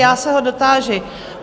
Já se ho dotáži.